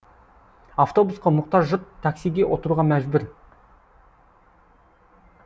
автобусқа мұқтаж жұрт таксиге отыруға мәжбүр